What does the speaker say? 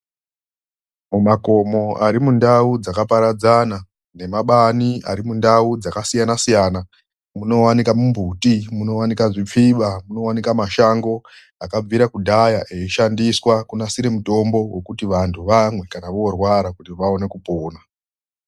MUMAKOMO ARIMUNDAU DZAKAPARADZANA NEMABANI ARI MUNDAU DZAKASIYANA-SIYANA MUNOWANIKWE MBUTI, MUNOWANIKWE ZVIPFIBA MUNOWANIKWE MASHANGO AKABVIRE KARE AISHANDISWA KUGADZIRE MUTOMBO KUTI VANHU VAMWE KUTI VAONE KUPONA